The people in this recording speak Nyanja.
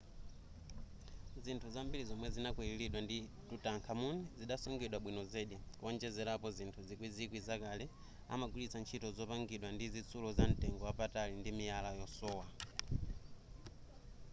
zinthu zambiri zomwe zinakwililidwa ndi tutankhamun zidasungidwa bwino zedi kuonjezerapo zinthu zikwizikwi zakale amagwilitsa ntchito zopangidwa ndi zitsulo za mtengo wapatali ndi miyala yosowa